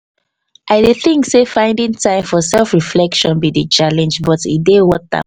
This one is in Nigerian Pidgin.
i dey think sey fiding time for self reflection be the challenge but e dey water